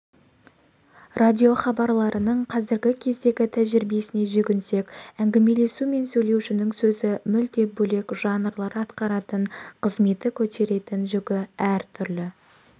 радиохабарларының қазіргі кездегі тәжірибесіне жүгінсек әңгімелесу мен сөйлеушінің сөзі мүлде бөлек жанрлар атқаратын қызметі көтеретін жүгі әртүрлі